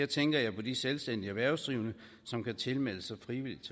tænker jeg på de selvstændige erhvervsdrivende som kan tilmelde sig